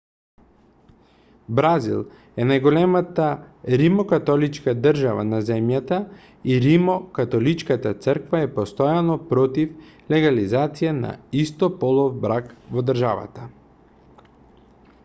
бразил е најголемата римокатоличка држава на земјата и римокатоличката црква е постојано против легализација на истополов брак во државата